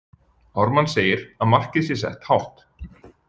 Ármann segir að markið sé sett hátt.